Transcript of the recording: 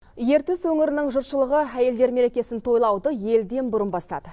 ертіс өңірінің жұртшылығы әйелдер мерекесін тойлауды елден бұрын бастады